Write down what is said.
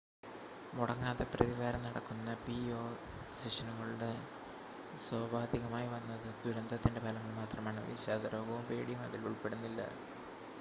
മുടങ്ങാതെ പ്രതിവാരം നടക്കുന്ന പിഎ സെഷനുകളുടെ സോപാധികമായി വന്നത് ദുരന്തത്തിൻ്റെ ഫലങ്ങൾ മാത്രമാണ് വിഷാദരോഗവും പേടിയും അതിൽ ഉൾപ്പെടുന്നില്ല